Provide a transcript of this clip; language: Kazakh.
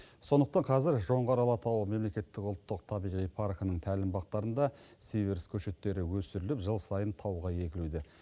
сондықтан қазір жоңғар алатауы мемлекеттік ұлттық табиғи паркінің тәлімбақтарында сиверс көшеттері өсіріліп жыл сайын тауға егілуде